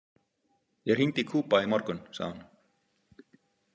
Ég hringdi í Kuba í morgun, sagði hún.